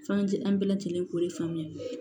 F'an ti an bɛɛ lajɛlen k'o de faamuya